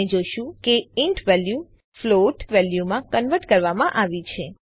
આપણે જોશું કે ઇન્ટ વેલ્યુ ફ્લોટ વેલ્યુમાં કન્વર્ટ કરવામાં આવી છે